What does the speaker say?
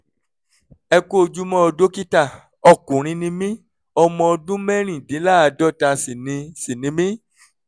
ẹ kú ojúmọ́ o dókítà ọkùnrin ni mí ọmọ ọdún mẹ́rìndínláàádọ́ta sì ni sì ni mí